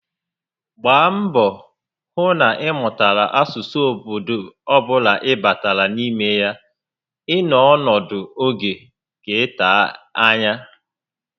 Mgbaa mbọ hụ na ị mụtara asụsụ obodo ọbula ị batara n'ime ya ị nọ ọnọdụ oge ga ete ányá